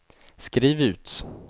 skriv ut